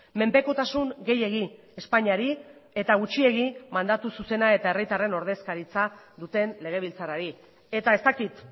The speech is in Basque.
menpekotasun gehiegi espainiari eta gutxiei mandatu zuzena eta herritarren ordezkaritza duten legebiltzarrari eta ez dakit